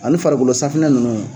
Ani farigolo safunɛ ninnu